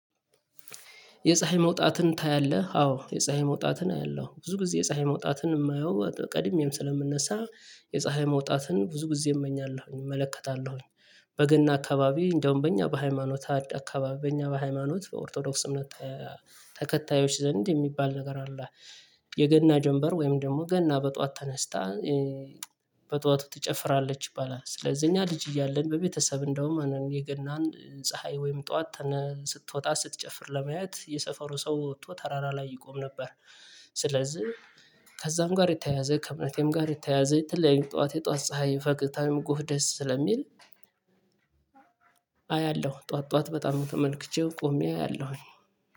የፀሀይ መውጣትን ታያለህ አዎ የፀሀይ መውጣትን አያለሁ ብዙ ጊዜ የፀሀይ መውጣትን የማየው ቀድሜም ስለምንነሳ የፀሀይ መውጣትን ብዙ ጊዜ እመኛለሁኝ እመለከታለሁኝ። በገና አካባቢ እንደውም በእኛ በሃይማኖት አካባቢ በእኛ በሃይማኖት በኦርቶዶክስ እምነት ተከታዮች ዘንድ የሚባል ነገር አለ። የገና ጀምበር ወይም ደግሞ ገና በጠዋት ተነስታ በጧቱ ትጨፍራለች ይባላል። ስለዚህ እኛ ልጅ እያለን በቤተሰብ እንደውም እኔ የገናን ፀሀይ ወይም ጠዋት ስትወጣ ስትጨፍር ለማየት የሰፈሩ ሰው ወጥቶ ተራራ ላይ ይቆም ነበር። ስለዚህ ከዛም ጋር የተያያዘ ከእምነቴም ጋር የተያያዘ የተለያየ ጠዋት የጠዋት ፀሀይ ፈቅደህ ጎህ ደስ ስለሚል። አያለሁ ጠዋት ጠዋት በጣም ተመልክቼው ቆሜ አያለሁኝ